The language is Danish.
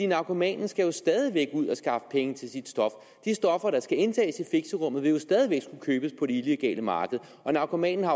narkomanen skal jo stadig væk ud og skaffe penge til sit stof de stoffer der skal indtages i fixerum vil jo stadig væk skulle købes på det illegale marked og narkomanen har